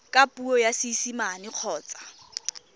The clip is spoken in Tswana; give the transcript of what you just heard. ka puo ya seesimane kgotsa